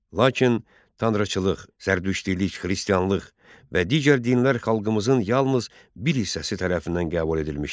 Lakin tanrıçılıq, zərdüştilik, xristianlıq və digər dinlər xalqımızın yalnız bir hissəsi tərəfindən qəbul edilmişdi.